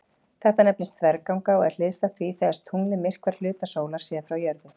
Þetta nefnist þverganga og er hliðstætt því þegar tunglið myrkvar hluta sólar séð frá jörðu.